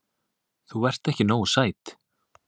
Þú ert ekki nógu sæt.